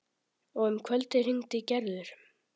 Og um kvöldið hringdi Gerður.